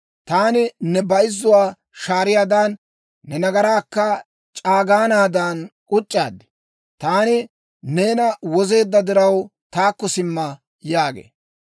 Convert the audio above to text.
Taani ne bayzzuwaa shaariyaadan, ne nagaraakka c'aagaanaadan k'uc'c'aad. Taani neena wozeedda diraw, taakko simma» yaagee.